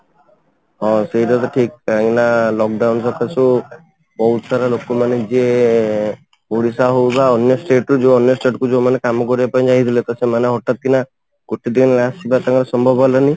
ହଁ, ସେଇଟା ତ ଠିକ କାହିଁକି ନା lock down ବହୁତ ସାରା ଲୋକ ମାନେ ଯିଏ ଓଡିଶା ହଉ ବା ଅନ୍ୟ state ର ଯୋଉ ଅନ୍ୟ state କୁ ଯୋଉ ମାନେ କାମ କରିବାକୁ ଯାଇଥିଲେ ତ ସେମାନେ ହଠାତ କିନା ଗୋଟେ ଦିନ ଆସିବା ତାଙ୍କ ସମ୍ଭବ ହେଲାନି